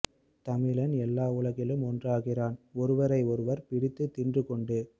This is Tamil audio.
தமிழன் எல்லா உலகிலும் ஒருக்கிறான் ஒருவரை ஒருவர் பிடித்து தின்றூ கொண்டு